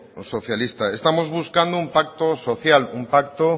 socialista estamos buscando un pacto social un pacto